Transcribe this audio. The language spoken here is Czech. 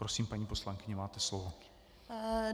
Prosím, paní poslankyně, máte slovo.